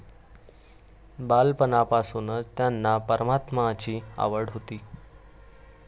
बालपणापासूनच त्यांना परमार्थाची आवड होती.